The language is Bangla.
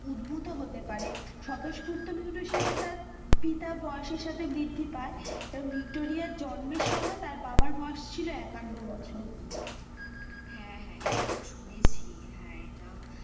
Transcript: উদ্ভূত হতে পারে, মিউটেশন তার পিতা বয়েসের সাথে বৃদ্ধি পাই, এবং ভিক্টোরিয়ার জন্মের সময় তার বাবার বয়েস ছিল একান্নো বছর হেঁ, হেঁ, এটাও শুনেছে হেঁ, এটাও,